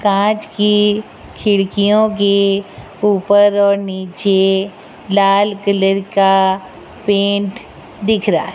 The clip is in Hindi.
कांच की खिड़कियों के ऊपर और नीचे लाल कलर का पेंट दिख रहा है।